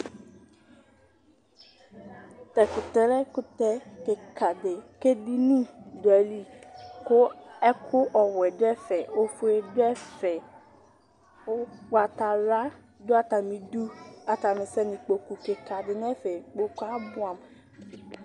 Ta tʋ terrain kʋtɛ kika di kʋ edini dʋ ayili, kʋ ɛkʋ ɔwɛ dʋ ɛfɛ, ofue dʋ ɛfɛ, ʋgbatawla dʋ atamidu, atani sɛnʋ ikpoku kika di n'ɛfɛ Ikpokʋ yɛ abʋɛ amʋ